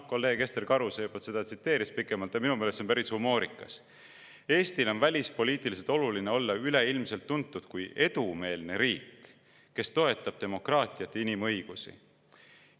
Kolleeg Ester Karuse juba tsiteeris seda pikemalt ja minu meelest on see päris humoorikas: "Eestile on välispoliitiliselt oluline olla üleilmselt tuntud kui edumeelne riik, kes toetab demokraatiat ja inimõigusi.